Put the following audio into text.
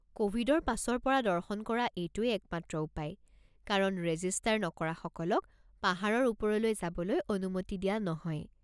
ক'ভিডৰ পাছৰ পৰা দৰ্শন কৰা এইটোৱেই একমাত্ৰ উপায়, কাৰণ ৰেজিষ্টাৰ নকৰাসকলক পাহাৰৰ ওপৰলৈ যাবলৈ অনুমতি দিয়া নহয়।